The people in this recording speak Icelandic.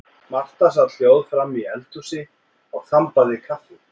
Marta sat hljóð framí eldhúsi og þambaði kaffi.